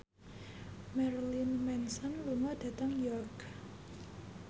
Marilyn Manson lunga dhateng York